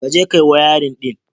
Ka je ka yi wayarin ɗin.